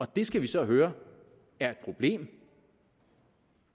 det skal vi så høre er et problem